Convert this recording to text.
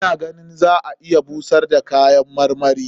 Ina ganin za a iya busar da kayan marmarin.